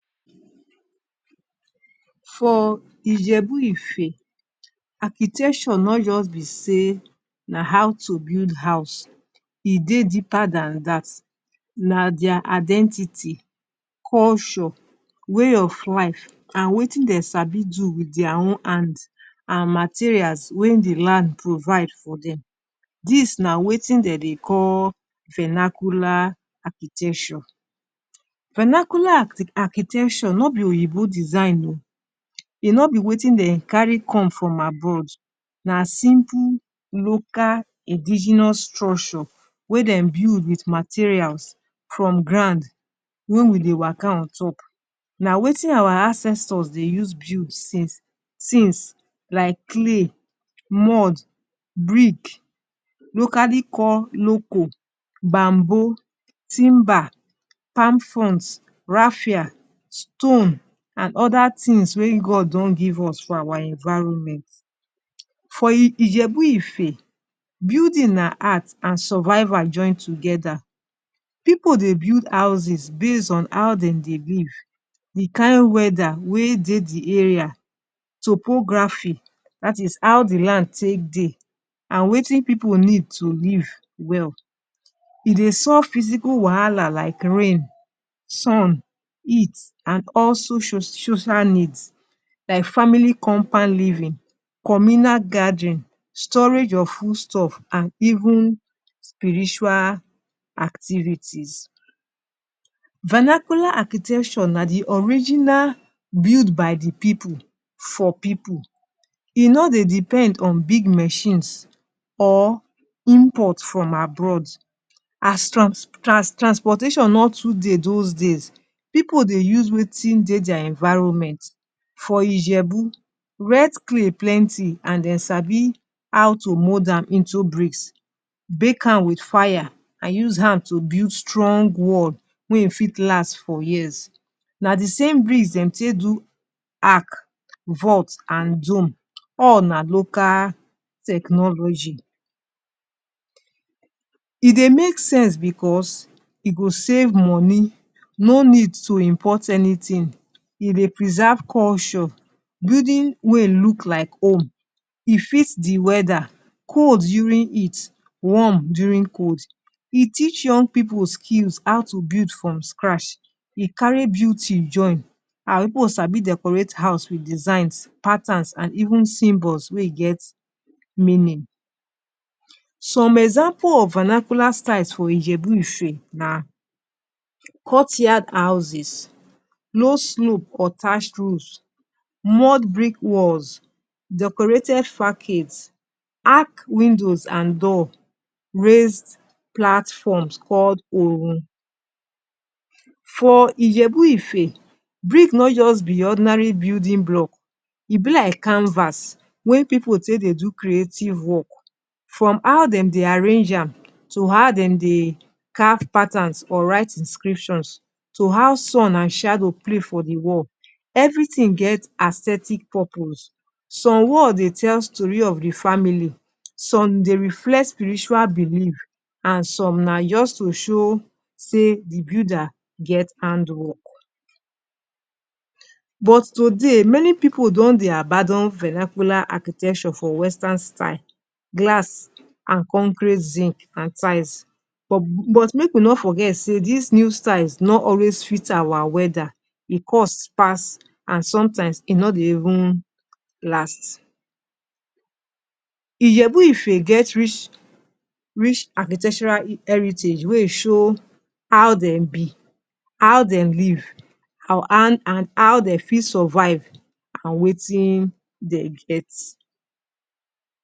For Ijebu-Ife, architecture nor just be sey na how to build house, e dey deeper than dat. Na their identity, culture, way of life and wetin dem sabi do wit their own hand and materials wey de land provide for dem, dis na wetin dem dey call fernacular architecture. Vernacular architecture no be oyibo design oo, e no be wetin dem carry come from abroad. Na simple local indigenous structure wey dem build wit materials from ground wey we dey waka on top, na wetin our ancestors dey use build since since like clay, mud, brick locally call loco, bamboo, timber, palm fronds, rafia, stone and other things wey God don give us for our environment. For Ijebu-Ife building na art and survival join together. Pipu dey build houses based on how dem dey live, the kain weather wey dey the area, topography dat is how de land take dey and wetin pipu need to live well. E dey solve physical wahala like rain, sun, heat and also social needs like family compound living, communal gathering, storage of food stuff and even spiritual activities. Vernacular architecture na de original build by de pipu for pipu. E no dey depend on big mechines or import from abroad. As trans trans transportation no too dey those days pipu dey use wetin dey dia environment. For Ijebu wet clay plenty and dey sabi how to mould am into bricks, bake am wit fire and use am to build strong wall wey e fit last for years. Na de same bricks dem take do ark, vault and dome; all na local technology. E dey make sense because e go save money, no need to import anything. E dey preserve culture, building wey look like home. E fit de weather, cold during heat, warm during cold. E teach young pipu skills how to build from scratch. E carry beauty join. Our pipu sabi decorate house wit designs, patterns and even symbols wey e get main name. Some example of vernacular styles for Ijebu-Ife na courtyard houses, low slope or thatch roofs, mud brick walls, decorated fackets, arch windows and door, raised platforms called For Ijebu-Ife, brick nor just be ordinary building block, e be like canvas wey pipu take dey do creative work, from how dem dey arrange am to how dem dey carve patterns or write inscriptions, to how sun and shadow play for de wall. Everything get aesthetic purpose. Some wall dey tell story of de family, some dey reflect spiritual belief and some na just to show sey de builder get handwork. But today many pipu don dey abandon vernacular architecture for western style, glass and concrete zinc and tiles but but make we no forget sey dis new styles no always fit our weather. E cost pass and sometimes e no dey even last. Ijebu-Ife get rich rich architectural heritage wey e show how dem be, how dem live and how dey fit survive on wetin dey get.